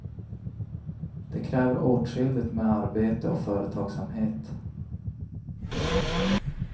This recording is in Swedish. Det kräver åtskilligt med arbete och företagsamhet.